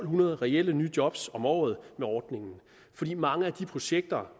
hundrede reelle nye job om året med ordningen fordi mange af de projekter